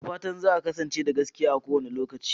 Da fatan za a kasance da gaskiya a kowane lokaci.